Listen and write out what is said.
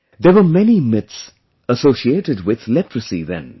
There were many myths associated with leprosy then